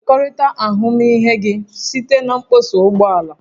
Kekọrịta ahụmịhe gị site na mkpọsa ụgbọ ala